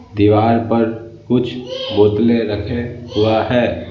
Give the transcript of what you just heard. दीवार पर कुछ बोतले रखे हुआ है।